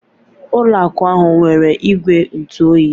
Ụlọ akụ ahụ nwere igwe ntụ oyi.